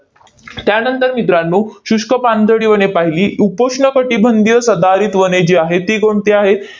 त्यानंतर मित्रांनो, शुष्क पानझडी वने पाहिली. उपोष्ण कटिबंधीय सदाहरित वने जी आहेत, ती कोणती आहेत?